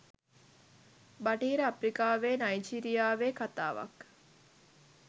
බටහිර අප්‍රිකාවේ නයිජීරියාවේ කථාවක්.